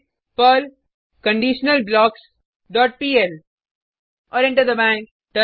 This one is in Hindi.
टाइप करें पर्ल कंडीशनलब्लॉक्स डॉट पीएल और एंटर दबाएँ